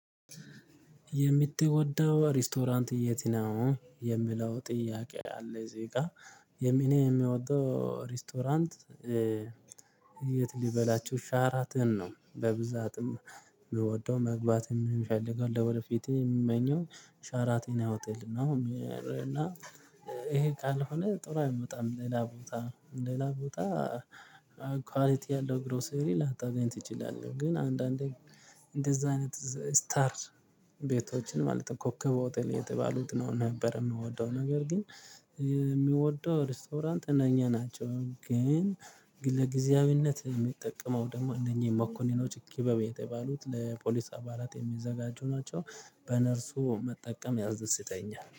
የምትወደው ሬስቶራንት የት ነው? የምለው ጥያቄ አለ እዚጋ እኔ የሚወደው ሬስቶራንት የት ልበላችሁ ሻራተን ነው። በብዛትም የምወደው መግባትም የምፈልገው ወደ ፊቴ የምመኘው ሻረተን ሆቴል ነው። እና ይሄ ካልሆነ ጥሩ አይመጣም ሌላ ቦታ ሌላ ቦታ ኳሊቲ ያለው ግሮሰሪ ላታገኝ ትችላለህ። ግን አንዳንዴ እንደዛ አይነት ስታር ቤቶችን ማለት ነው ኮከብ ሆቴል የተባሉት ነው። ነበር የምወደው ነገር ግን የሚወደው ሬስቶራንት እነኚ ናቸው። ግን ለጊዜያዊነት የምጠቀመው ደግሞ እነኚ መኮንኖች ክበብ የተባሉት ለፖሊስ አባላት የሚዘጋጁ ናቸው። በነርሱ መጠቀም ያስደስተኛል